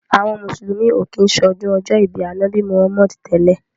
Àwọn mùsùlùmí ò kí ń ṣọdún ọjọ́ ìbí Ànábì Muhammadu tẹ́lẹ̀.